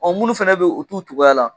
Ɔ minnu fana bɛ yen u t'u cogoya la